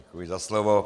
Děkuji za slovo.